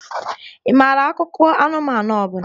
Ị maara akụkọ anụmanụ ọ bụla?